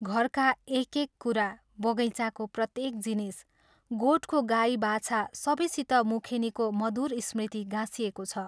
घरका एक एक कुरा, बगैँचाको प्रत्येक जिनिस, गोठको गाई बाछा सबैसित मुखेनीको मधुर स्मृति गाँसिएको छ।